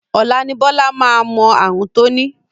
Ọ̀la ni Bọ́lá máa mọ ààrùn tó ní